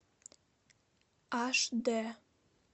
аш дэ